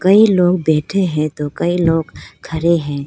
कई लोग बैठे हैं तो कई लोग खड़े हैं।